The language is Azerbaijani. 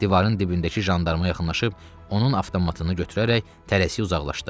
Divarın dibindəki jandarma yaxınlaşıb onun avtomatını götürərək tələsik uzaqlaşdı.